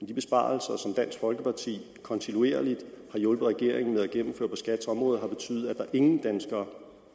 de besparelser som dansk folkeparti kontinuerligt har hjulpet regeringen med at gennemføre på skats område har betydet at der ingen danskere